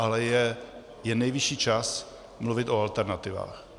Ale je nejvyšší čas mluvit o alternativách.